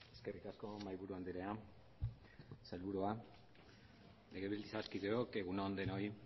eskerrik asko mahai buru andrea sailburua legebiltzarkideok egun on denoi